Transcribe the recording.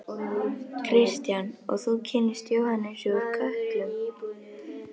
Kristján: Og þú kynntist Jóhannesi úr Kötlum?